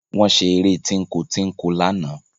Wọ́n ṣeré tínko-tínko lánàá